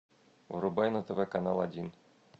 врубай на тв канал один